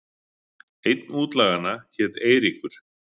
Einn útlaganna hét Eiríkur.